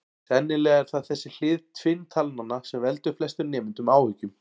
Sennilega er það þessi hlið tvinntalnanna sem veldur flestum nemendum áhyggjum.